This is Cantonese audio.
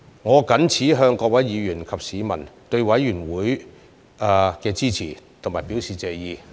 我謹此向各位議員及市民對委員會的支持表示謝意。